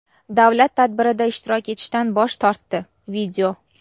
davlat tadbirida ishtirok etishdan bosh tortdi.